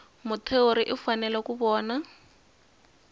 muthori u fanele ku vona